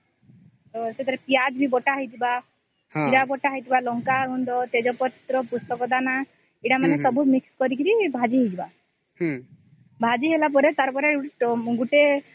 ସେଥିରେ ପିଆଜ ବି ବଟା ହେଇଥିବା ଜୀରା ବି ବଟା ହେଇଥିବା ଲଙ୍କା ଗୁଣ୍ଡ ତେଜ ପର୍ତ ପୁସ୍ତକ ଦାନ ସେଟା ସବୁ mix କରିକି ଭାଜି ହେଇଯିବ ଭାଜି ହେଇଗଲା ପରେ ସେଟା ଗୋଟେ